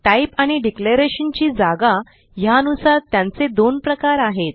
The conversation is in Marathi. टाईप आणि डिक्लेरेशन ची जागा ह्यानुसार त्यांचे दोन प्रकार आहेत